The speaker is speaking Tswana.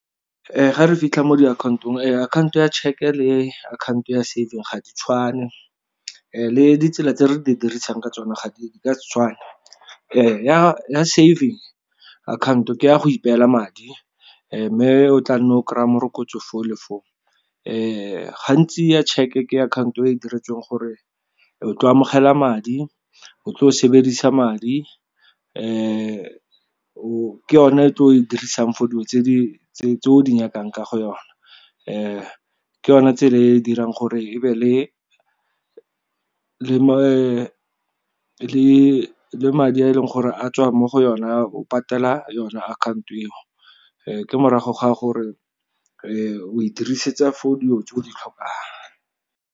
Ga re fitlha mo diakhantong akhaonto ya tšheke le akhaoto ya saving ga di tshwane, le ditsela tse re di dirisang ka tsona di ka se tshwane. Ya saving akhaonto ke ya go ipeela madi, mme o tla nna o kry-a morokotso foo le foo. Gantsi ya tšheke ke akhaoto e e diretsweng gore o tlo amogela madi, o tlo sebedisa madi, ke yone e tlo o e dirisang for dilo tse o di nyakang ka go yona, ke yone tsela e e dirang gore e be le madi a e leng gore a tswa mo go yona o patela yona akhaoto eo. Ke morago ga a gore o e dirisetsa for dilo tse o di tlhokang.